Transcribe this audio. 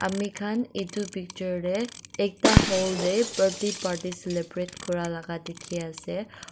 amikhan edu picture tae ekta hall tae birthday party celebrate kurala dikhiase.